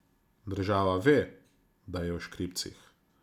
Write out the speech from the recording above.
Država ve, da je v škripcih.